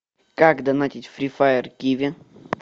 как донатить фри фаер киви